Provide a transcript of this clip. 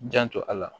Janto a la